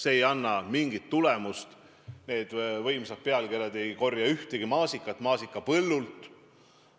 See ei anna mingit tulemust, need võimsad pealkirjad ei korja ühtegi maasikat maasikapõllult.